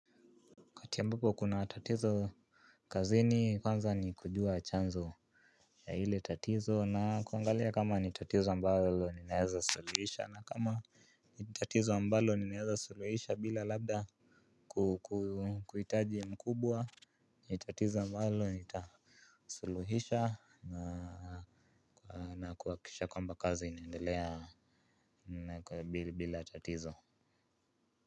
Wakati ambapo kuna tatizo kazi ni kwanza ni kujua chanzo ya hile tatizo na kuangalia kama ni tatizo ambalo ni naheza suluhisha na kama ni tatizo ambalo ni naheza suluhisha bila labda kuhitaji mkubwa ni tatizo ambalo ni tasuluhisha na kuakisha kwamba kazi inaendelea bila tatizo.